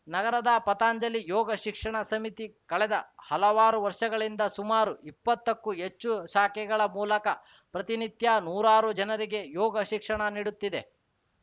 ನಗರದ ಪತಂಜಲಿ ಯೋಗ ಶಿಕ್ಷಣ ಸಮಿತಿ ಕಳೆದ ಹಲವಾರು ವರ್ಷಗಳಿಂದ ಸುಮಾರು ಇಪ್ಪತ್ತಕ್ಕೂ ಹೆಚ್ಚು ಶಾಖೆಗಳ ಮೂಲಕ ಪ್ರತಿನಿತ್ಯ ನೂರಾರು ಜನರಿಗೆ ಯೋಗ ಶಿಕ್ಷಣ ನೀಡುತ್ತಿದೆ